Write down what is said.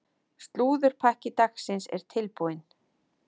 Slúðurpakki dagsins er tilbúinn.